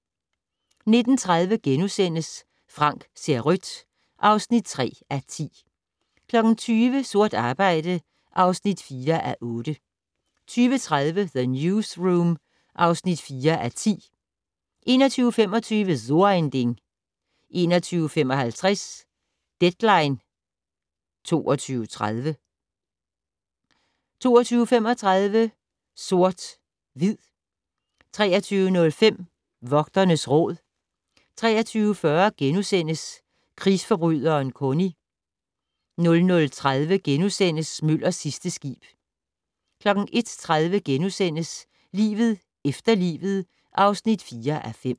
19:30: Frank ser rødt (3:10)* 20:00: Sort arbejde (4:8) 20:30: The Newsroom (4:10) 21:25: So ein Ding 21:55: Deadline 22.30 22:35: Sort/Hvid 23:05: Vogternes Råd 23:40: Krigsforbryderen Kony * 00:30: Møllers sidste skib * 01:30: Livet efter livet (4:5)*